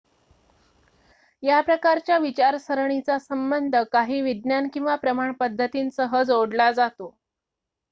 या प्रकारच्या विचारसरणीचा संबंध काही विज्ञान किंवा प्रमाण पद्धतींसह जोडला जातो